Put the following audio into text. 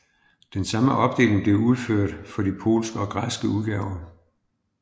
Den samme opdeling blev udført for de polsk og græsk udgaver